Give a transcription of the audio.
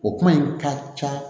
O kuma in ka ca